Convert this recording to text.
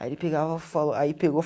Aí ele pegava falou aí pegou